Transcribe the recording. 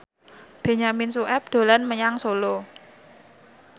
Benyamin Sueb dolan menyang Solo